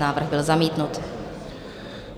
Návrh byl zamítnut.